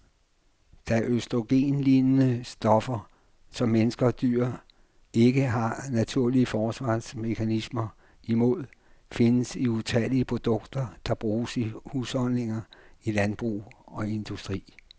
De østrogenlignende stoffer, som mennesker og dyr ikke har naturlige forsvarsmekanismer imod, findes i utallige produkter, der bruges i husholdninger, i landbrug og industri.